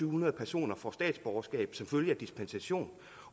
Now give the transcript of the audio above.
hundrede personer får statsborgerskab som følge af dispensation